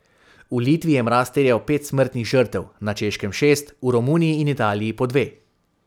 V Litvi je mraz terjal pet smrtnih žrtev, na Češkem šest, v Romuniji in Italiji po dve.